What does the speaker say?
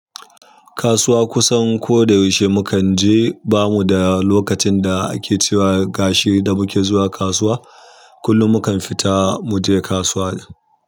Kasuwa kusan ko da yaushe mukan je, bamu da lokacin da ake cewa gashi da muke zuwa kasuwa, kullum mukan fita muje kasuwa.